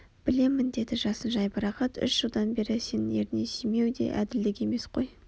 білемін деді жасын жайбарақат Үш жылдан бері сенің ерніңнен сүймеу де әділдік емес қой